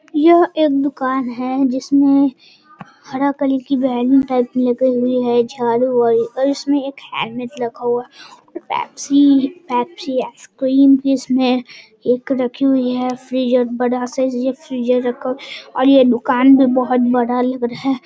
यह एक दुकान है जिसमे हरा कलर की बैलून टाइप लगे हुए है और इसमें एक हेलमेट रखा हुआ है और पेप्सी पेप्सी आइसक्रीम इसमें एक रखी हुई है फ्रीज बड़ा साइज एक फ्रीजर रखा हुआ है और ये दुकान भी बहुत बड़ा लग रहा है|